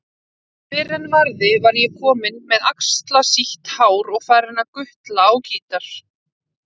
Fyrr en varði var ég kominn með axlarsítt hár og farinn að gutla á gítar.